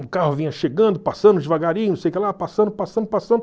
O carro vinha chegando, passando devagarinho, não sei o que lá, passando, passando, passando.